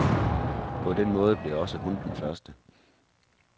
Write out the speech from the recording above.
På den måde blev også hun den første.